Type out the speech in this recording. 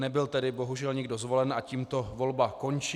Nebyl tedy bohužel nikdo zvolen a tímto volba končí.